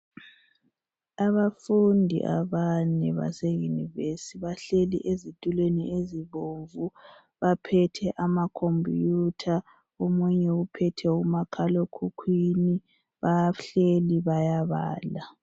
Abafundi abane base university bahleli ezitulweni ezibomvu baphethe amakhompuyutha omunye uphethe umakhalekhukhwini bahleli bayabala.